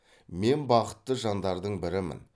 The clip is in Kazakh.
мен бақытты жандардың бірімін